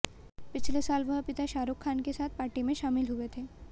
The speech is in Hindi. पिछले साल वह पिता शाहरुख खान के साथ पार्टी में शामिल हुए थे